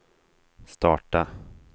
starta